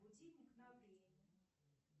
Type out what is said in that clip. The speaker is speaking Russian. будильник на время